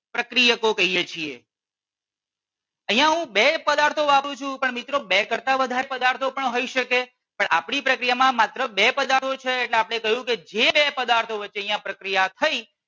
પ્રક્રિયકો કહીએ છીએ. અહિયાં હું બે પદાર્થો વાપરું છું પણ મિત્રો બે કરતાં પણ વધારે પદાર્થો હોય શકે. પણ આપની પ્રક્રિયામાં માત્ર બે પદાર્થો છે એટલે આપણે કહ્યું કે જે બે પદાર્થો વચ્ચે અહિયાં પ્રક્રિયા થઈ